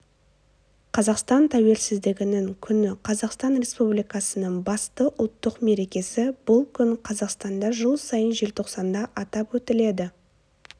қазақстан тәуелсіздігінің күні қазақстан республикасының басты ұлттық мерекесі бұл күн қазақстанда жыл сайын желтоқсанда атап өтіледі